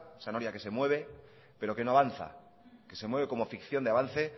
esa noria que se mueve pero que no avanza que se mueve como ficción de avance